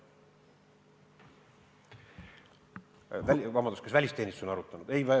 Kas välisteenistus on arutanud?